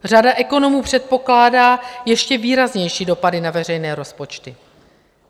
Řada ekonomů předpokládá ještě výraznější dopady na veřejné rozpočty.